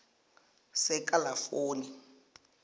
sekalafoni